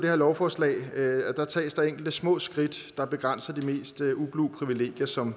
her lovforslag at der tages enkelte små skridt der begrænser de mest ublu privilegier som